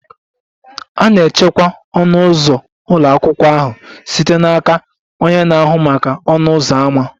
A na-echekwa ọnụ ụzọ ụlọ akwụkwọ ahụ site n'aka onye na-ahụ maka ọnụ ụzọ ámá.